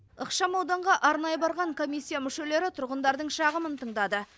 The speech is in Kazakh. ықшамауданға арнайы барған комиссия мүшелері тұрғындардың шағымын тыңдады